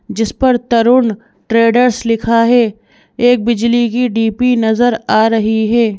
जिस पर तरुण ट्रेडर्स लिखा है एक बिजली की डीपी नजर आ रही है।